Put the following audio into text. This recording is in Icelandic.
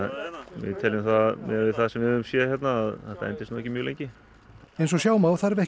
við teljum miðað við það sem við höfum séð hérna að þetta endist ekki mjög lengi eins og sjá má þarf ekki